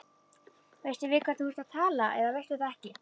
Veistu við hvern þú talar eða veistu það ekki.